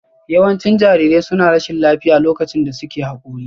Yawancin jarirai suna rashin lafiya lokacin da suke Haƙori